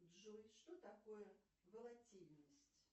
джой что такое волатильность